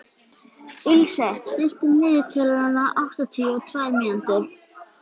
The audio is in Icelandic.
Ilse, stilltu niðurteljara á áttatíu og tvær mínútur.